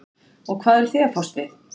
og hvað eruð þið að fást við?